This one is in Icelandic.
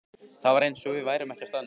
Það var eins og við værum ekki á staðnum.